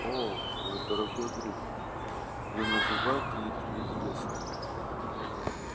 о мой дорогой друг не называйте их неизвестными